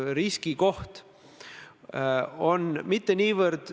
Austatud peaminister!